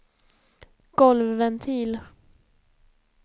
golvventil